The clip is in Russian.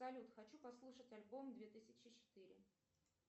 салют хочу послушать альбом две тысячи четыре